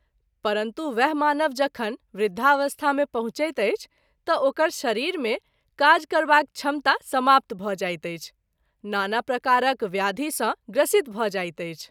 परन्तु वएह मानव जखन वृद्धावस्था मे पहुँचैत अछि त’ ओकर शरीर मे काज करबाक क्षमता समाप्त भ’ जाइत अछि, नाना प्रकारक व्याधि सँ ग्रसित भ’ जाइत अछि।